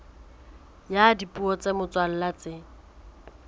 ya dipuo tsa motswalla tse